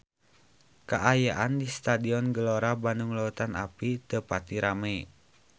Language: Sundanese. Kaayaan di Stadion Gelora Bandung Lautan Api teu pati rame